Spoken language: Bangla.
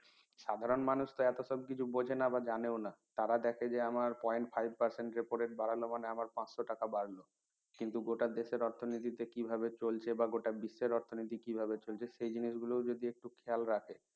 সাধারণ মানুষ তো এত সব কিছু বোঝেনা বা জানেও না তারা দেখে যে আমার point five percent repo rate বাড়ালো মানে আমার পাঁচশ টাকা বাড়ল কিন্তু গোটা দেশের অর্থনীতিতে কিভাবে চলছে বা গোটা বিশ্বের অর্থনীতিতে কিভাবে চলছে সে জিনিসগুলো ও যদি একটু খেয়াল রাখে